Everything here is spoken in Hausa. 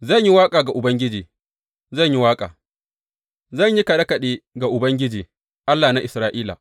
Zan yi waƙa ga Ubangiji, zan yi waƙa; zan yi kaɗe kaɗe ga Ubangiji, Allah na Isra’ila.